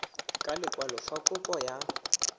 ka lekwalo fa kopo ya